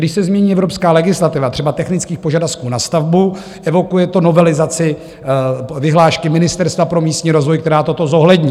Když se změní evropská legislativa, třeba technických požadavků na stavbu, evokuje to novelizaci vyhlášky Ministerstva pro místní rozvoj, která toto zohlední.